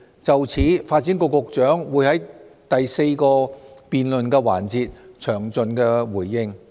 就此，發展局局長會在第四個辯論環節詳盡回應。